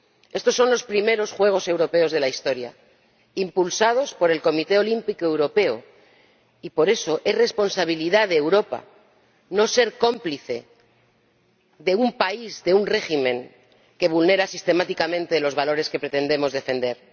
Estos son los primeros Juegos Europeos de la historia, impulsados por el Comité Olímpico Europeo y, por eso, es responsabilidad de Europa no ser cómplice de un país, de un régimen que vulnera sistemáticamente los valores que pretendemos defender.